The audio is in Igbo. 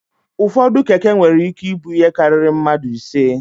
Ụfọdụ Keke nwere ike ibu ihe karịrị mmadụ ise.